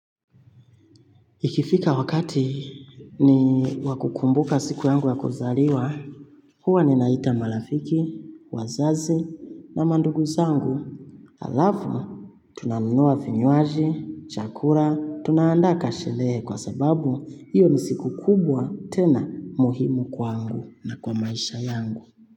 Ikifika wakati ni wakukumbuka siku yangu ya kuzaliwa, huwa ninaita marafiki, wazazi na mandugu zangu. Alafu, tunanunua vinywaji, chakula, tunaandaa kasherehe kwa sababu hiyo ni siku kubwa tena muhimu kwangu na kwa maisha yangu.